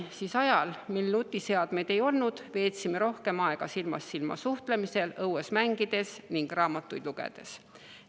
Siis, kui nutiseadmeid ei olnud, veetsid lapsed rohkem aega silmast silma suheldes, õues mängides ning raamatuid lugedes.